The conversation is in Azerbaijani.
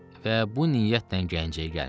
Və bu niyyətlə Gəncəyə gəlmişəm.